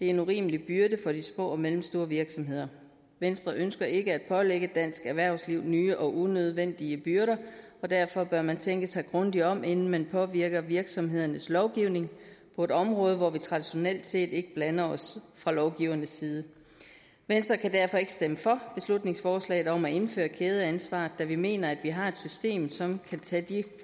en urimelig byrde for de små og mellemstore virksomheder venstre ønsker ikke at pålægge dansk erhvervsliv nye og unødvendige byrder og derfor bør man tænke sig grundigt om inden man påvirker virksomhedernes lovgivning på et område hvor vi traditionelt set ikke blander os fra lovgivernes side venstre kan derfor ikke stemme for beslutningsforslaget om at indføre kædeansvar da vi mener at vi har et system som kan tage de